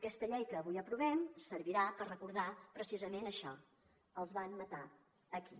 aquesta llei que avui aprovem servirà per recordar precisament això els van matar aquí